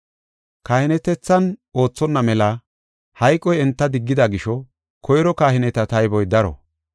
Kahinetethan oothonna mela hayqoy enta diggida gisho koyro kahineta tayboy daro.